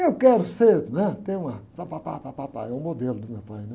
Eu quero ser, né? Tem uma... Pápápá, pápápá, é o modelo do meu pai.